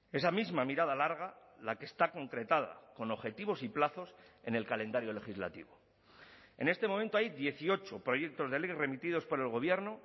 esa misma mirada larga la que está concretada con objetivos y plazos en el calendario legislativo en este momento hay dieciocho proyectos de ley remitidos por el gobierno